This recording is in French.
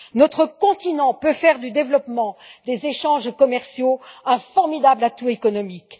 Notre continent peut faire du développement des échanges commerciaux un formidable atout économique.